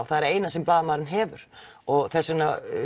það eina sem blaðamaðurinn hefur og þess vegna